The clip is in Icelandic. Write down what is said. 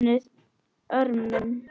VOPNUÐ ÖRMUM